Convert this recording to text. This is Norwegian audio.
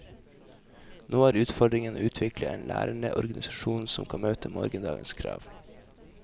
Nå er utfordringen å utvikle en lærende organisasjon som kan møte morgendagens krav.